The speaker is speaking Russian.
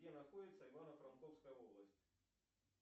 где находится ивано франковская область